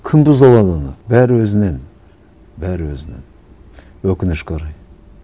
кім бұза алады оны бәрі өзінен бәрі өзінен өкінішке орай